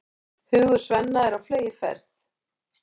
Hugur Svenna er á fleygiferð.